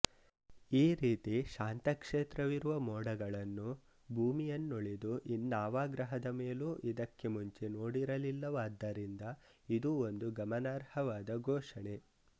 ಈ ರೀತಿ ಶಾಂತಕ್ಷೇತ್ರವಿರುವ ಮೋಡಗಳನ್ನು ಭೂಮಿಯನ್ನುಳಿದು ಇನ್ನಾವ ಗ್ರಹದ ಮೇಲೂ ಇದಕ್ಕೆ ಮುಂಚೆ ನೋಡಿರಲಿಲ್ಲವಾದ್ದರಿಂದ ಇದು ಒಂದು ಗಮನಾರ್ಹವಾದ ಘೋಷಣೆ